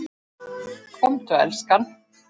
Komdu elskan!